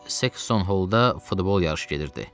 Və Sexton Hallda futbol yarışı gedirdi.